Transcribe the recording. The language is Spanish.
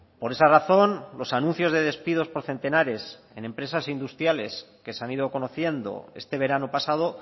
por esa razón los anuncios de despidos por centenares en empresas industriales que se han ido conociendo este verano pasado